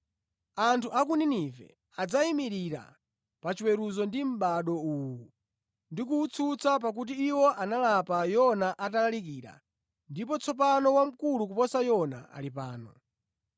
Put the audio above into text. Anthu a ku Ninive adzayimirira pachiweruzo ndi mʼbado uwu ndi kuwutsutsa pakuti iwo analapa Yona atalalikira ndipo tsopano wamkulu kuposa Yona ali pano.